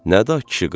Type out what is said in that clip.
Nə də kişi qırığı.